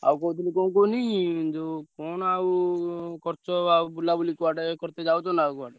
ଆଉ କହୁଥିଲି କଣ କୁହନି ଯୋଉ କଣ ଆଉ କରୁଛ ଆଉ ବୁଲାବୁଲି କୁଆଡେ କରିତେ ଯାଉଚନା ଆଉ?